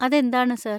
അതെന്താണ്, സർ?